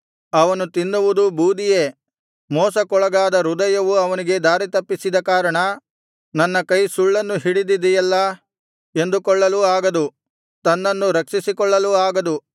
ಅವನು ತಿನ್ನುವುದು ಬೂದಿಯೇ ಮೋಸಕ್ಕೊಳಗಾದ ಹೃದಯವು ಅವನಿಗೆ ದಾರಿತಪ್ಪಿಸಿದ ಕಾರಣ ನನ್ನ ಕೈ ಸುಳ್ಳನ್ನು ಹಿಡಿದಿದೆಯಲ್ಲಾ ಎಂದುಕೊಳ್ಳಲೂ ಆಗದು ತನ್ನನ್ನು ರಕ್ಷಿಸಿಕೊಳ್ಳಲೂ ಆಗದು